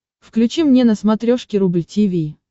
включи мне на смотрешке рубль ти ви